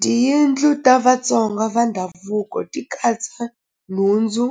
Tiyindlu ta Vatsonga va ndhavuko ti katsa nhundzu